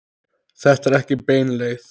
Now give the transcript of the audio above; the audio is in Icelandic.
Þetta er ekki bein leið.